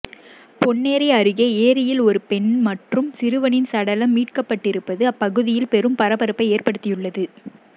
பொன்னேரி அருகே ஏரியில் ஒரு பெண் மற்றும் சிறுவனின் சடலம் மீட்கப்பட்டிருப்பது அப்பகுதியில் பெரும் பரபரப்பை ஏற்படுத்தியுள்ளது